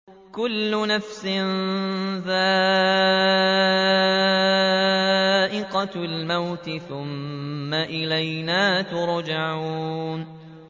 كُلُّ نَفْسٍ ذَائِقَةُ الْمَوْتِ ۖ ثُمَّ إِلَيْنَا تُرْجَعُونَ